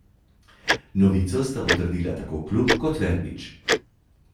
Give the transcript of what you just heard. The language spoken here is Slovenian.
Novico sta potrdila tako klub kot Verbič.